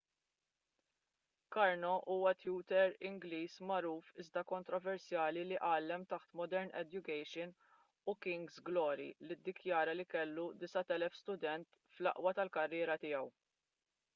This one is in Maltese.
karno huwa tutur ingliż magħruf iżda kontroversjali li għallem taħt modern education u king's glory li ddikjara li kellu 9,000 student fl-aqwa tal-karriera tiegħu